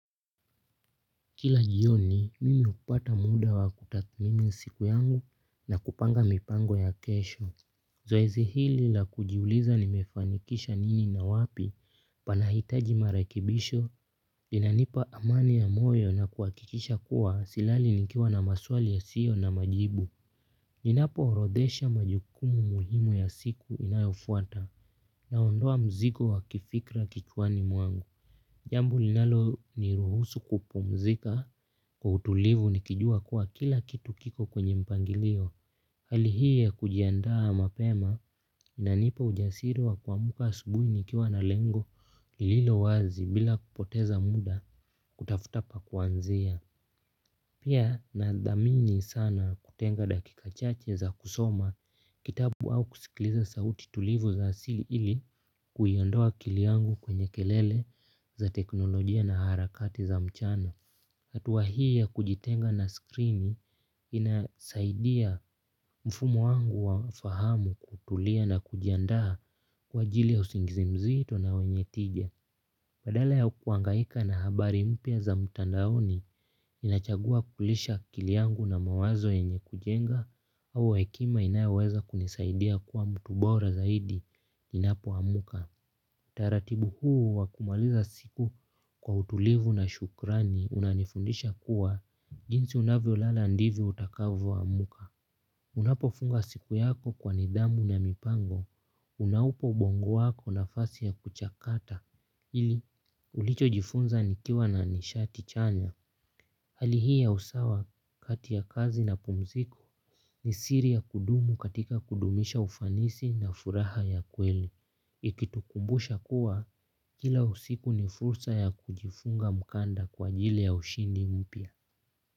Kila jioni, mimi hupata muda wa kutathmimi siku yangu na kupanga mipango ya kesho. Zoezi hili la kujiuliza nimefanikisha nini na wapi panahitaji marekebisho. Inanipa amani ya moyo na kuhakikisha kuwa silali nikiwa na maswali ya sio na majibu. Ninapoorodesha majukumu muhimu ya siku inayofuata naondoa mzigo wa kifikra kicwani mwangu. Jambo ninalo ni ruhusu kupumzika kwa utulivu nikijua kuwa kila kitu kiko kwenye mpangilio. Hali hii ya kujiandaa mapema inanipa ujasiri wa kuamka asubuhi nikiwa na lengo ililo wazi bila kupoteza muda kutafuta pa kuanzia. Pia nadhamini sana kutenga dakika chache za kusoma kitabu au kusikiliza sauti tulivu za asili ili kuyaondoa akiliangu kwenye kelele za teknolojia na harakati za mchana. Hatuwa hii ya kujitenga na skrini inasaidia mfumo wangu wa fahamu kutulia na kujiandaa kwa jili ya usingizi mzito na wenye tija. Badala yao kuangaika na habari mpya za mtandaoni, ninachagua kulisha akili yangu na mawazo yenye kujenga au hekima inayoweza kunisaidia kuwa mtu bora zaidi ninapoamka. Taratibu huu wakumaliza siku kwa utulivu na shukrani unanifundisha kuwa jinsi unavyolala ndivo utakavoamka. Unapofunga siku yako kwa nidhamu na mipango, unaupa ubongo wako nafasi ya kuchakata, ili ulichojifunza nikiwa na nishati chanya. Hali hii ya usawa kati ya kazi na pumziku ni siri ya kudumu katika kudumisha ufanisi na furaha ya kweli. Ikitukumbusha kuwa, kila usiku ni fursa ya kujifunga mkanda kwa ajili ya ushindi mpya.